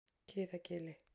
Kiðagili